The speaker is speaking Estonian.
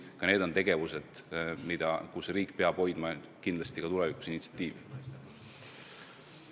Ka need on tegevused, kus riik peab kindlasti tulevikuski initsiatiivi hoidma.